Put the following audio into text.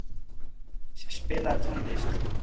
Brimdís, spilaðu tónlist.